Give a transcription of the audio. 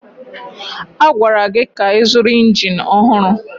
A gwara gị ka ịzụrụ injin ọhụrụ!